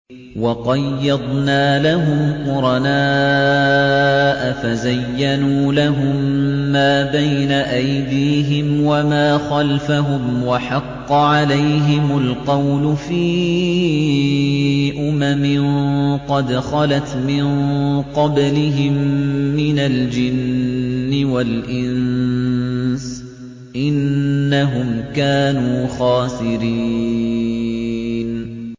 ۞ وَقَيَّضْنَا لَهُمْ قُرَنَاءَ فَزَيَّنُوا لَهُم مَّا بَيْنَ أَيْدِيهِمْ وَمَا خَلْفَهُمْ وَحَقَّ عَلَيْهِمُ الْقَوْلُ فِي أُمَمٍ قَدْ خَلَتْ مِن قَبْلِهِم مِّنَ الْجِنِّ وَالْإِنسِ ۖ إِنَّهُمْ كَانُوا خَاسِرِينَ